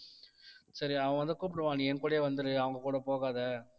சரி அவன் வந்து கூப்பிடுவான் நீ என் கூடயே வந்துரு அவங்க கூட போகாதே